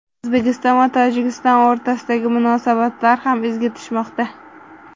O‘zbekiston va Tojikiston o‘rtasidagi munosabatlar ham izga tushmoqda.